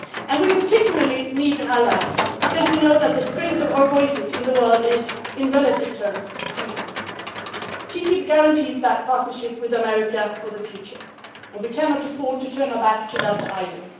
We particularly need an ally, because we know that the strength of our voice in the world is, in relative terms, decreasing. TTIP guarantees that partnership with America for the future, and we cannot afford to turn our backs on that either.